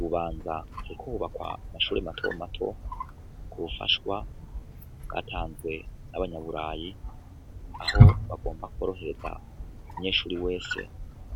Bubanza sekohobakwa mashure mato mato ku wufashwa bwatanzwe n'abanyaburayi aho bagomba kworohereza umunyeshuri wese